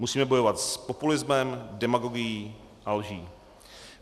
Musíme bojovat s populismem, demagogií a lží.